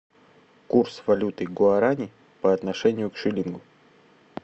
курс валюты гуарани по отношению к шиллингу